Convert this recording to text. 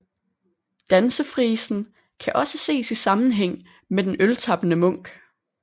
Dansefrisen kan også ses i sammenhæng med den øltappende munk